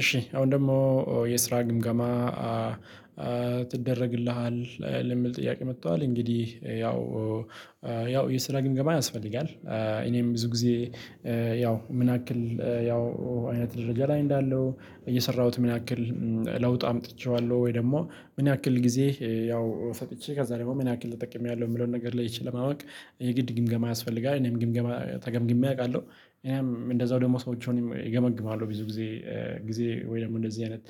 እሺ አሁን ደግሞ የስራ ግምገማ ትደረግልሃል የሚል ጥያቄ መጥቷል እንግዲህ ያው ያው የስራ ግንምገባ ያስፈልጋል እኔም ብዙ ጊዜ ያው ምን ያክል ያው አይነት ደረጃ ላይ እንዳለው እየሰራሁት ምን ያክል ለውጥ አምጥቼዋለሁ ወይ ደግሞ ምን ያክል ጊዜ ያው ሰጥቼ ከዛ ደግሞ ምን ያክል ተጠቅሜያለሁ የሚለውን ነገር ላይ ይችል ማወቅ የግድ ግምገማ ያስፈልጋል። እኔም ግምገማ ተገምግሜ አውቃለሁ። እኔም እንደዛው ደግሞ ሰዎችንም እገመግማለሁ። ብዙ ጊዜ- ጊዜ ወይም እንደዚህ አይነት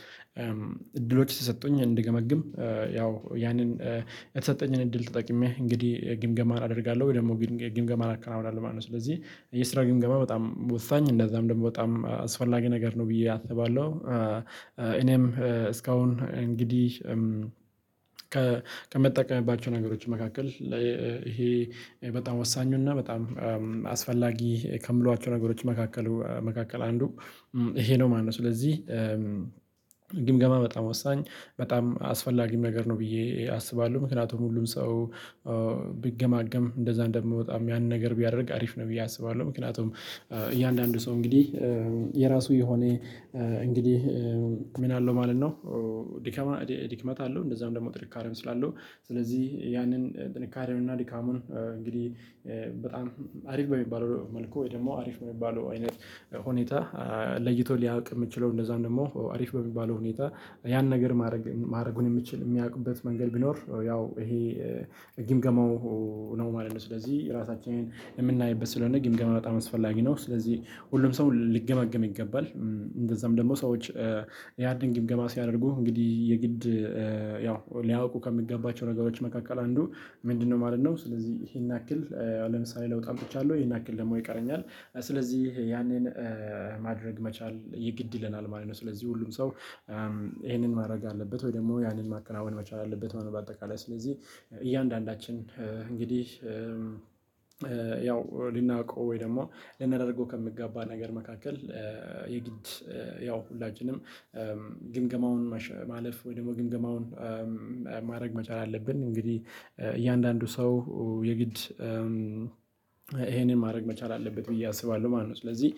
እድሎች ስትሰጡኝ እንድገመግም ያው ያንን የተሰጠኝን እድል ተጠቅሜ እንግዲህ ግምገማ አደርጋለሁ ወይ ደግሞ ግምገማ አከናውናለሁ ማለት ነው። ስለዚህ የስራ ግምገማ በጣም ወሳኝ እንደዛም ደግሞ በጣም አስፈላጊ ነገር ነው ብዬ አስባለሁ። እኔም እስካሁን እንግዲህ ከምጠቀምባቸው ነገሮች መካከል ይሄ በጣም ወሳኙና በጣም አስፈላጊ ከምላቸው ነገሮች መካከል አንዱ ይሄ ነው ማነው። ስለዚህ: ግምገማ በጣም ወሳኝ በጣም አስፈላጊ ነገር ነው ብዬ አስባለሁ። ምክንያቱም ሁሉም ሰው ቢገማገም እንደዛ እንደምወጣም ያንን ነገር ቢያደርግ አሪፍ ነው ብዬ አስባለሁ። ምክንያቱም እያንዳንዱ ሰው እንግዲህ የራሱ የሆኔ እንግዲህ ምን አለው ማለት ነው- ድክመት አለው። እንደዛም ደግሞ ጥንካሬም ስላለው ስለዚህ ያንን ጥንካሬም እና ድካሙን እንግዲህ በጣም አሪፍ በሚባለው መልኩ ወይ ደግሞ አሪፍ በሚባለው አይነት ሁኔታ- ለይቶ ሊያውቅ የምችለው እንደዛም ደግሞ አሪፍ በሚባለው ሁኔታ ያን ነገር ማድረግ የሚያውቁበት መንገድ ቢኖር ያው ይሄ ግምገማው- ነው ማለት ነው። ስለዚህ ራሳችንን የምናይበት ስለሆነ ግን ገምገማ በጣም አስፈላጊ ነው። ስለዚህ ሁሉም ሰው ሊገመገም ይገባል። እንደዛም ደግሞ ሰዎች ያንን ግምገማ ሲያደርጉ እንግዲህ የግድ- ያው ሊያውቁ ከሚገባቸው ነገሮች መካከል አንዱ ምንድነው ማለት ነው ስለዚህ ይሄን ያክል ለምሳሌ ለውጥ አምጥቻለሁ። ይሄን ያክል ደሞ ይቀረኛል። ስለዚህ ያኔን ማድረግ መቻል የግድ ይለናል ማለት ነው። ስለዚህ ሁሉም ሰው- ይሄንን ማድረግ አለበት ወይ ደግሞ ያንን ማከናወን መቻል አለበት ማለት ነው። በአጠቃላይ ስለዚህ እያንዳንዳችን እንግዲህ ያው ልናውቀው ወይ ደግሞ ልናደርገው ከሚገባ ነገር መካከል- የግድ ያው ሁላችንም ግምገማውን ማለፍ ወይ ደግሞ ግምገማውን ማድረግ መቻል አለብን። እንግዲህ- እያንዳንዱ ሰው የግድ ይሄንን ማድረግ መቻል አለበት ብዬ አስባለሁ ማለት ነው። ስለዚህ-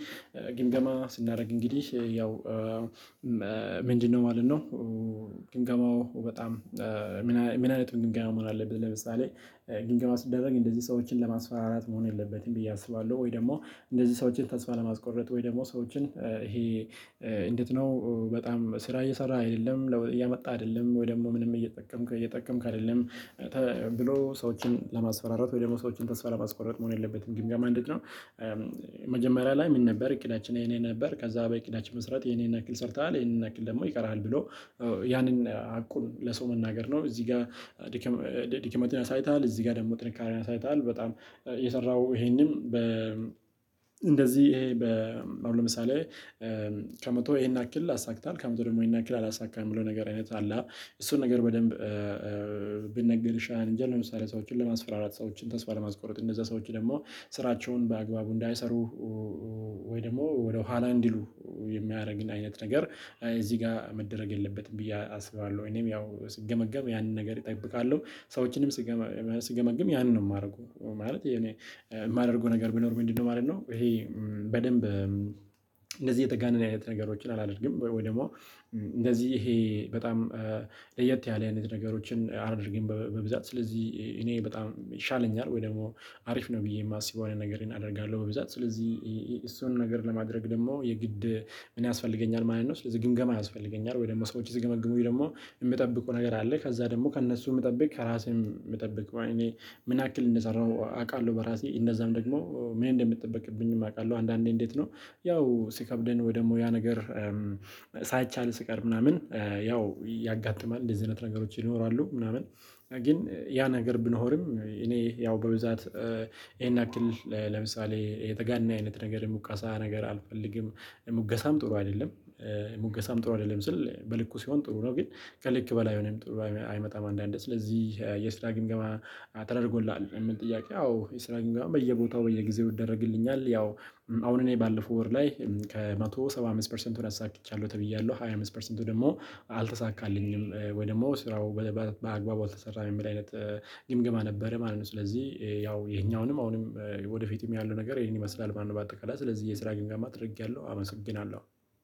ግምገማ ስናደርግ እንግዲህ ያው ምንድነው ማለት ነው ግምገማው በጣም ምን አይነት ግምገማ መሆን አለበት። ለምሳሌ- ግምገማ ሲደረግ እንደዚህ ሰዎችን ለማስፈራራት መሆን የለበትም ብዬ አስባለሁ። ወይ ደግሞ እንደዚህ ሰዎችን ተስፋ ለማስቆረጥ ወይ ደግሞ ሰዎችን ይሄ እንዴት ነው በጣም ስራ እየሰራህ አይደለም። ለዉጥ እያመጣህ አይደለም። ወይ ደግሞ ምንም እየጠቀምክ አይደለም። ብሎ ሰዎችን ለማስፈራረት ወይ ደግሞ ሰዎችን ተስፋ ለማስቆረጥ መሆን የለበትም። ግምገማ እንዴት ነው- መጀመሪያ ላይ ምን ነበር እቅዳችን ይህ ይህ ነበር። ከዛ በእቅዳችን መሰረት ይህን ይህን ያክል ሰርተሃል ይሄንን ያክል ደግሞ ይቀርሃል። ብሎ- ያንን ሀቁን ለሰው መናገር ነው። እዚህ ጋር ድክመት አሳይተሃል። እዚህ ጋር ደግሞ ጥንካሬ አሳይተሃል። በጣም የሰራሃው ይሄንም በ- እንደዚህ በአሁኑ ለምሳሌ ከመቶ ይሄን ያክል አሳክታል። ከመቶ ደግሞ ያክል አላሳካህም። ብሎ ነገር አይነት አለ አ። እሱን ነገር በደንብ ቢነገር ይሻላል እንጅ። ለምሳሌ ሰዎችን ለማስፈራራት ሰዎችን ተስፋ ለማስቆረጥ እነዛ ሰዎች ደግሞ ስራቸውን በአግባቡ እንዳይሰሩ ወይ ደግሞ ወደኋላ እንዲሉ- የሚያደርግ አይነት ነገር እዚህ ጋር መደረግ የለበትም ብዬ አስባለሁ። እኔም ያው ስገመገም ያንን ነገር እጠብቃለሁ። ሰዎችንም ስገመግም ያንን ነው የማደርገው። ማለት የኔ የማደርገው ነገር ቢኖር ምንድነው ማለት ነው ይሄ በደንብ እንደዚህ የተጋነነ አይነት ነገሮችን አላደርግም። ወይ ደግሞ- እንደዚህ ይሄ በጣም ለየት ያለ አይነት ነገሮችን አላደርግም በብዛት። ስለዚህ እኔ በጣም ይሻለኛል ወይ ደግሞ አሪፍ ነው ብዬ የማስበው አይነት ነገር አደርጋለሁ በብዛት። ስለዚህ እሱን ነገር ለማድረግ ደግሞ የግድ- ምን ያስፈልገኛል ማለት ነው። ስለዚህ ግምገማ ያስፈልገኛል። ወይ ደግሞ ሰዎች ሲገመግሙኝ ደግሞ የምጠብቀው ነገር አለ። ከዛ ደግሞ ከእነሱም ምጠብቅ ከራሴም ምጠብቅ እኔ ምን ያክል እንደሰራሁ አውቃለሁ በራሴ። እንደዛም ደግሞ ምን እንደሚጠበቅብኝም አውቃለሁ። አንዳንዴ እንዴት ነው ያው ሲከብደን ወይ ደግሞ ያ ነገር- ሳይቻል ሲቀር ምናምን ያው ያጋጥማል። እንደዚህ አይነት ነገሮች ይኖራሉ። ምናምን- ግን ያ ነገር ብንሆንም እኔ ያው በብዛት- ይሄን ያክል ለምሳሌ የተጋነነ አይነት ነገር ሙገሳ ነገር አልፈልግም። ሙገሳም ጥሩ አይደለም። ሙገሳም ጥሩ አይደለም ስል በልኩ ሲሆን ጥሩ ነው። ግን ከልክ በላይ ሲሆን ጥሩ አይመጣም አንዳንዴ። ስለዚህ የስራ ግምገማ ተደርጎልሃል ለሚለው ጥያቄ አዎ የስራ ግምገማ በየቦታው በየጊዜው ይደረግልኛል። ያው- አሁን እኔ ባለፈው ወር ላይ ከመቶ ሰባ አምስት ፐርሰንቱን አሳክቻለሁ ተብያለሁ። ሃያ አምስት ፐርሰንቱ ደግሞ አልተሳካልኝም። ወይ ደግሞ ስራው በአግባቡ አልተሰራም የሚል አይነት ግምገማ ነበረ ማለት ነው። ስለዚህ ያው ይህኛውንም አሁንም ወደፊትም ያለው ነገር ይሄን ይመስላል ማለት ነው። በአጠቃላይ ስለዚህ የስራ ግምገማ ተደርጊያለሁ። አመሰግናለሁ።